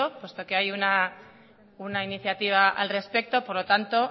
puesto que hay una iniciativa al respecto por lo tanto